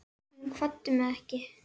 Hún kvaddi mig ekki.